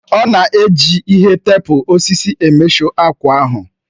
Ọ na-eji ihe teepu osisi emeshọ akwa ahụ